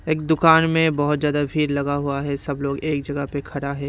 एक दुकान में बहुत ज्यादा भीर लगा हुआ है सब लोग एक जगह पर खड़ा है।